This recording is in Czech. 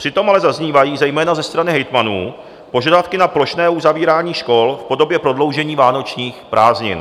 Přitom ale zaznívají zejména ze strany hejtmanů požadavky na plošné uzavírání škol v podobě prodloužení vánočních prázdnin.